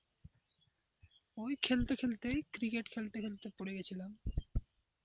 ওই খেলতে খেলতেই ক্রিকেট খেলতে পড়ে গেছিলাম।